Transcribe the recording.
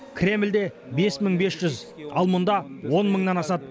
кремльде бес мың бес жүз ал мұнда он мыңнан асады